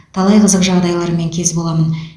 талай қызық жағдайлармен кез боламын